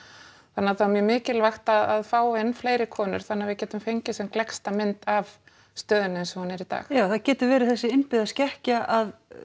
þannig að það er mjög mikilvægt að fá inn fleiri konur þannig að við getum fengið sem gleggsta mynd af stöðunni eins og hún er í dag já það getur verið þessi innbyggða skekkja að